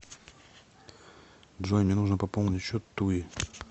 джой мне нужно пополнить счет туи